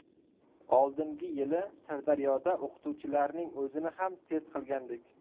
Oldingi yili Sirdaryoda o‘qituvchilarning o‘zini ham test qilgandik.